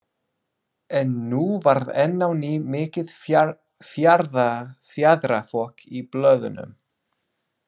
En nú varð enn á ný mikið fjaðrafok í blöðunum.